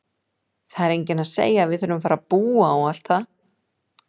Það er enginn að segja að við þurfum að fara að búa og allt það!